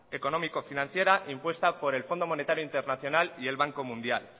económico financiera impuesta por el fondo monetario internacional y el banco mundial